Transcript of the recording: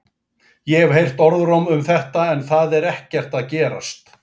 Ég hef heyrt orðróm um þetta en það er ekkert að gerast.